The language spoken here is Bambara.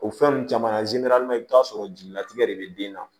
O fɛn nunnu caman i bi t'a sɔrɔ jelilatigɛ de be den na